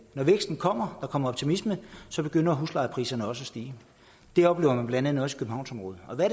når væksten kommer der kommer optimisme så begynder huslejepriserne også at stige det oplever man blandt andet også